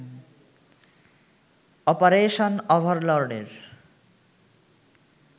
operation ওভারলর্ডের